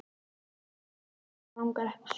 Hann ýmist langar eða langar ekki suður.